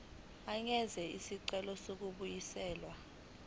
angenza isicelo sokubuyiselwa